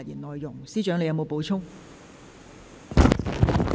律政司司長，你有否補充？